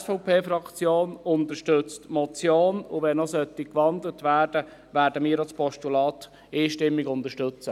Die SVP-Fraktion unterstützt die Motion, und sollte noch gewandelt werden, werden wir auch das Postulat einstimmig unterstützen.